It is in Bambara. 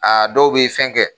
A dɔw b'i fɛn kɛ